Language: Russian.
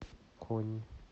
конь